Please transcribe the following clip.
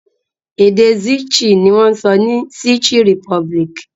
Èdè Czech ni wọ́n ń sọ ní Czech Republic.